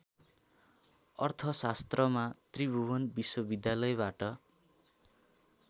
अर्थशास्त्रमा त्रिभुवन विश्वविद्यालयबाट